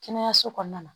Kɛnɛyaso kɔnɔna na